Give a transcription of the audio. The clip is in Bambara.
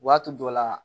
Waati dɔ la